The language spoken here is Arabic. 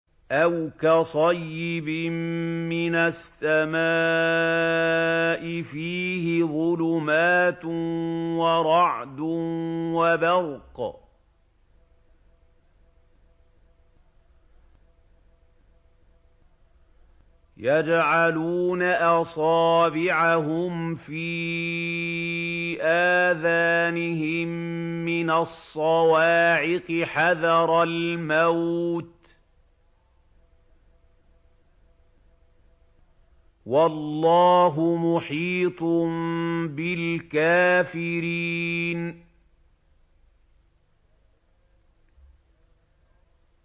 أَوْ كَصَيِّبٍ مِّنَ السَّمَاءِ فِيهِ ظُلُمَاتٌ وَرَعْدٌ وَبَرْقٌ يَجْعَلُونَ أَصَابِعَهُمْ فِي آذَانِهِم مِّنَ الصَّوَاعِقِ حَذَرَ الْمَوْتِ ۚ وَاللَّهُ مُحِيطٌ بِالْكَافِرِينَ